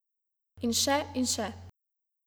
In še in še.